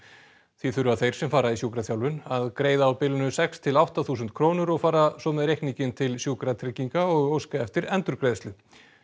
því þurfa þeir sem fara í sjúkraþjálfun að greiða á bilinu sex til átta þúsund krónur og fara svo með reikninginn til Sjúkratrygginga og óska eftir endurgreiðslu